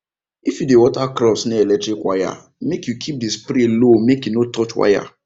if you dey water crops near electric wire make you keep the spray low make e no touch wire